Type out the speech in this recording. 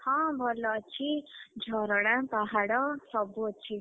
ହଁ ଭଲ ଅଛି ଝରଣା ପାହାଡ ସବୁ ଅଛି।